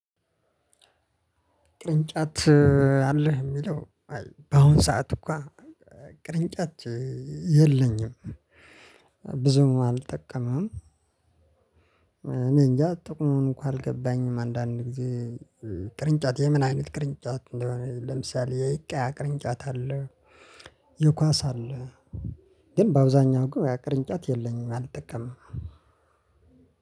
ቅርንጫት አለህ ሚለው አይ በአሁን ሰዓት እኮ ቅርንጫት የለኝም። ብዙም አልጠቀምም እኔ እንጃ ጥቅሙም እንኳን አልገባኝም አንዳንድ ጊዜ ቅርንጫቴ የምን አይነት ቅርንጫት እንደሆነ ለምሳሌ የቅያ ቅርንጫት አለ የኳስ አለ ግን በአብዛኛው ግን ቅርንጫት የለኝም አልጠቀምም።